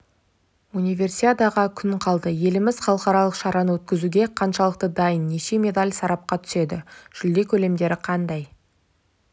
универсиадаға күн қалды еліміз халықаралық шараны өткізуге қаншалықты дайын неше медаль сарапқа түседі жүлде көлемдері қандай